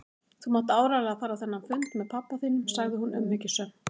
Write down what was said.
Þú mátt áreiðanlega fara á þennan fund með pabba þínum sagði hún umhyggjusöm.